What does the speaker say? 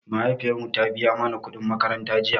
Mahaifiyar mu ta biya mana kuɗin makaranta jiya